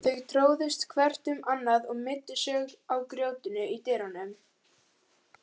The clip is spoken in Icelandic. Þau tróðust hvert um annað og meiddu sig á grjótinu í dyrunum.